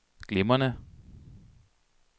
glimrende